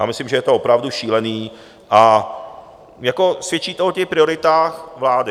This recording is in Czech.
Já myslím, že je to opravdu šílený a svědčí to o těch prioritách vlády.